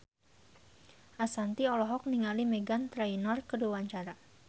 Ashanti olohok ningali Meghan Trainor keur diwawancara